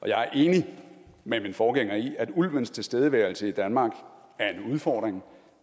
jeg er enig med min forgænger i at ulvens tilstedeværelse i danmark er en udfordring